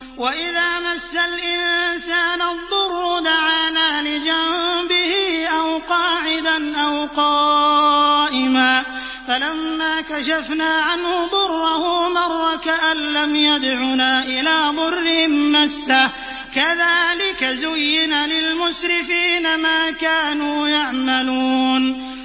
وَإِذَا مَسَّ الْإِنسَانَ الضُّرُّ دَعَانَا لِجَنبِهِ أَوْ قَاعِدًا أَوْ قَائِمًا فَلَمَّا كَشَفْنَا عَنْهُ ضُرَّهُ مَرَّ كَأَن لَّمْ يَدْعُنَا إِلَىٰ ضُرٍّ مَّسَّهُ ۚ كَذَٰلِكَ زُيِّنَ لِلْمُسْرِفِينَ مَا كَانُوا يَعْمَلُونَ